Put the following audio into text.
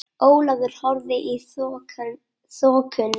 Ólafur horfði í þokuna.